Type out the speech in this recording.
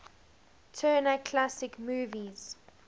turner classic movies